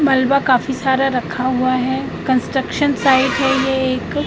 मलबा काफी सारा रखा हुआ है कंस्ट्रक्शन साइट है ये एक।